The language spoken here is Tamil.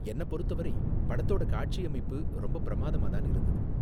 என்ன பொறுத்தவரை படத்தோட காட்சியமைப்பு ரொம்ப பிரமாதமா தான் இருந்தது.